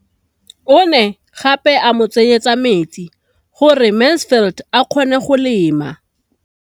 O ne gape a mo tsenyetsa metsi gore Mansfield a kgone go lema.